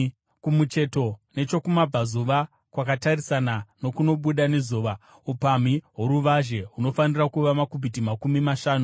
Kumucheto nechokumabvazuva kwakatarisana nokunobuda nezuva, upamhi hworuvazhe hunofanira kuva makubhiti makumi mashanu.